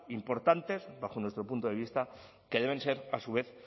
importantes bajo nuestro punto de vista que deben ser a su vez